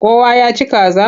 Kowa ya ci kaza?